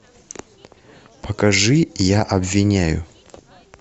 покажи я обвиняю